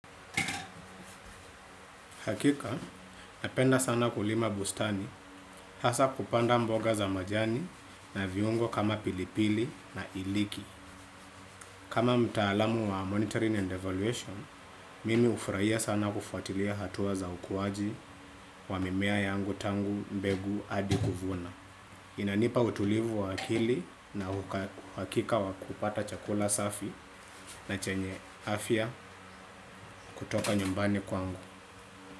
Hakika, napenda sana kulima bustani, hasa kupanda mboga za majani na viungo kama pilipili na iliki. Kama mtaalamu wa monitoring and evaluation, mimi hufurahia sana kufuatilia hatua za ukuaji wa mimea yangu tangu mbegu hadi kuvuna. Inanipa utulivu wa akili na uhakika wa kupata chakula safi na chenye afya kutoka nyumbani kwangu.